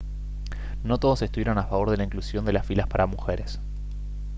no todos estuvieron a favor de la inclusión de las filas para mujeres